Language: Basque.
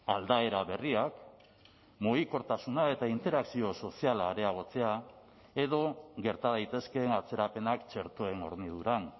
aldaera berriak mugikortasuna eta interakzio soziala areagotzea edo gerta daitezkeen atzerapenak txertoen horniduran